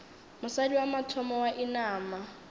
mosadi wa mathomo wa inama